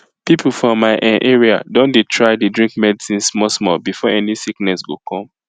people for my[um]area don dey try dey drink medicine small small before any sickness go come